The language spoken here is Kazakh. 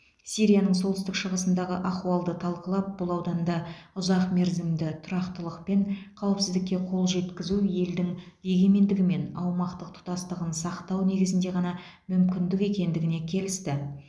сирияның солтүстік шығысындағы ахуалды талқылап бұл ауданда ұзақмерзімді тұрақтылық пен қауіпсіздікке қол жеткізу елдің егемендігі мен аумақтық тұтастығын сақтау негізінде ғана мүмкіндік екендігіне келісті